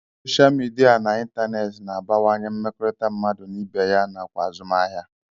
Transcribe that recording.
Soshal midia nakwa ịntaneetị na-abawanye mmekọrịta mmadụ na ibe ya nakwa azụmahịa